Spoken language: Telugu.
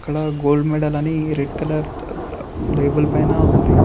అక్కడ గోల్డ్ మెడల్ అని రెడ్ కలర్ లేబుల్ పైన ఉంది.